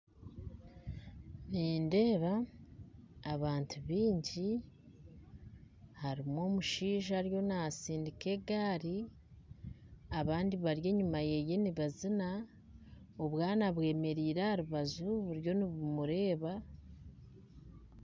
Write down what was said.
Nindeeba abantu baingi harimu omushaija ariyo nasindika egaari abandi bari enyuma ye bariyo nibazina obwana bwemereire buriyo nibumureeba